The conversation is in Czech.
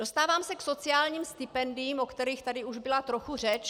Dostávám se k sociálním stipendiím, o kterých tady už byla trochu řeč.